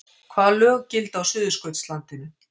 Hvaða lög gilda á Suðurskautslandinu?